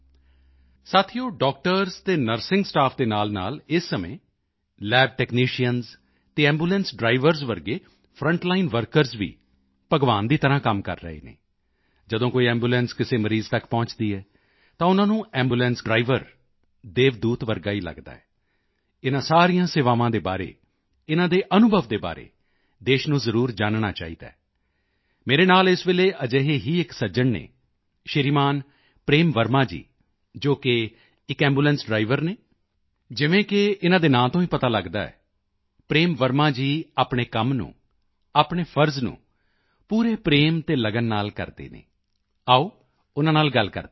ਸਾਥੀਓ ਡਾਕਟਰਜ਼ ਅਤੇ nursing staff ਦੇ ਨਾਲਨਾਲ ਇਸ ਸਮੇਂ ਲੈਬਟੈਕਨੀਸ਼ੀਅਨਜ਼ ਅਤੇ ਐਂਬੂਲੈਂਸ ਡ੍ਰਾਈਵਰਜ਼ ਵਰਗੇ ਫਰੰਟਲਾਈਨ ਵਰਕਰਜ਼ ਵੀ ਭਗਵਾਨ ਦੀ ਤਰ੍ਹਾਂ ਕੰਮ ਕਰ ਰਹੇ ਹਨ ਜਦੋਂ ਕੋਈ ਐਂਬੂਲੈਂਸ ਕਿਸੇ ਮਰੀਜ਼ ਤੱਕ ਪਹੁੰਚਦੀ ਹੈ ਤਾਂ ਉਨ੍ਹਾਂ ਨੂੰ ਐਂਬੂਲੈਂਸ ਡ੍ਰਾਈਵਰ ਦੇਵਦੂਤ ਵਰਗਾ ਹੀ ਲਗਦਾ ਹੈ ਇਨ੍ਹਾਂ ਸਾਰੀਆਂ ਸੇਵਾਵਾਂ ਦੇ ਬਾਰੇ ਇਨ੍ਹਾਂ ਦੇ ਅਨੁਭਵ ਦੇ ਬਾਰੇ ਦੇਸ਼ ਨੂੰ ਜ਼ਰੂਰ ਜਾਨਣਾ ਚਾਹੀਦਾ ਹੈ ਮੇਰੇ ਨਾਲ ਇਸ ਵੇਲੇ ਅਜਿਹੇ ਹੀ ਇੱਕ ਸੱਜਣ ਹਨ ਸ਼੍ਰੀਮਾਨ ਪ੍ਰੇਮ ਵਰਮਾ ਜੀ ਜੋ ਕਿ ਇੱਕ ਐਂਬੂਲੈਂਸ ਡ੍ਰਾਈਵਰ ਹਨ ਜਿਵੇਂ ਕਿ ਇਨ੍ਹਾਂ ਦੇ ਨਾਂ ਤੋਂ ਹੀ ਪਤਾ ਲਗਦਾ ਹੈ ਪ੍ਰੇਮ ਵਰਮਾ ਜੀ ਆਪਣੇ ਕੰਮ ਨੂੰ ਆਪਣੇ ਫ਼ਰਜ਼ ਨੂੰ ਪੂਰੇ ਤਿਆਗ ਅਤੇ ਲਗਨ ਨਾਲ ਕਰਦੇ ਹਨ ਆਓ ਉਨ੍ਹਾਂ ਨਾਲ ਗੱਲ ਕਰਦੇ ਹਾਂ